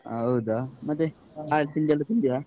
ಹೌದಾ ಮತ್ತೆ? ಆಯ್ತಾ ತಿಂಡಿಯೆಲ್ಲ ತಿಂದ್ಯಾ?